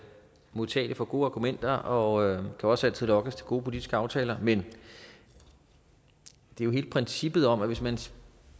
modtagelig for gode argumenter og jeg kan også altid lokkes til gode politiske aftaler men det er jo hele princippet om at hvis man